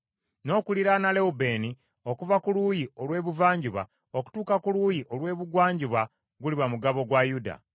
N’okuliraana Lewubeeni okuva ku luuyi olw’ebuvanjuba okutuuka ku luuyi olw’ebugwanjuba guliba mugabo gwa Yuda.